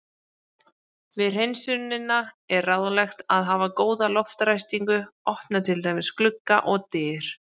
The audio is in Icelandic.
Við hreinsunina er ráðlegt að hafa góða loftræstingu, opna til dæmis glugga og dyr.